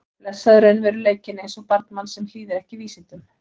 Og blessaður raunveruleikinn eins og barn manns sem hlýðir ekki vísindum.